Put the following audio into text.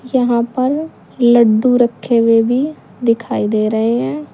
यहां पर लड्डू रखे हुए भी दिखाई दे रहे हैं।